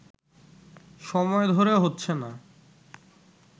সময় ধরে হচ্ছে না